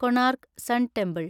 Konark sun temple